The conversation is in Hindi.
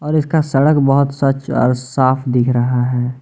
और इसका सड़क बहुत स्वच्छ और साफ दिख रहा है।